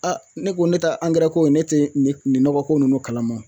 Aa ne ko ne ta angɛrɛ ko ne te ne nin nɔgɔ ko nunnu kalama wo